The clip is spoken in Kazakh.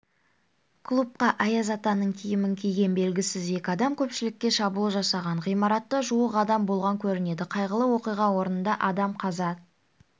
клубқа аяз атаның киімін киген белгісіз екі адам көпшілікке шабуыл жасаған ғимаратта жуық адам болған көрінеді қайғылы оқиға орнында адам қаза